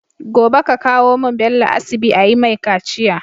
Gobe ka kawo mun Bello asibi ayi mai kaciya